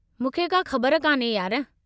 मूंखे का ख़बरु कान्हे, यार।